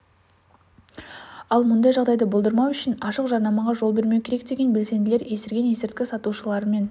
ал мұндай жағдайды болдырмау үшін ашық жарнамаға жол бермеу керек деген белсенділер есірген есірткі сатушылармен